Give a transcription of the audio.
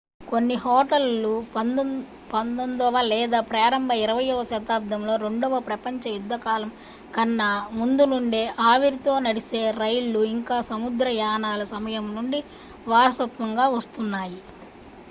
కొన్ని హోటల్లు 19వ లేదా ప్రారంభ 20వ శతాబ్దంలో రెండవ ప్రపంచ యుద్ధ కాలం కన్నా ముందు నుండే ఆవిరితో నడిపే రైళ్లు ఇంకా సముద్ర యానాల సమయం నుండి వారసత్వంగా వస్తున్నాయి